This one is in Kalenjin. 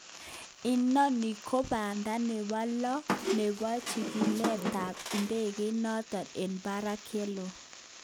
Inani ko banda nebo lo nebo chikilet tab idegeit noton eng barak yelo.